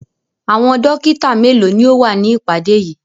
Àwọn dọ́kítá mélòó ni ó wà ní ìpàdé yìí?